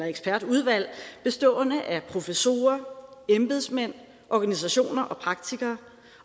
ekspertudvalg bestående af professorer embedsmænd organisationer og praktikere